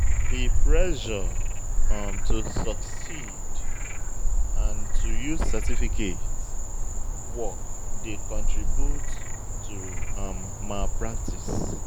The pressure um to succeed and to use certificate work dey contribute to um malpractice